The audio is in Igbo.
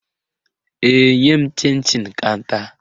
Ee, nye m chịn chịn ka m taa